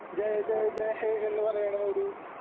ജയ് ജയ് ജയ്‌ ഹേ എന്നുപറയണ ഒരു